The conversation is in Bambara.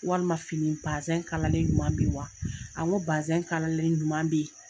Walima fini pa bazin kalalen ɲuman be ye wa a n ko bazin kalalen ɲuman be yen